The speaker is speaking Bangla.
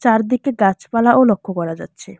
চারদিকে গাছপালাও লক্ষ করা যাচ্ছে।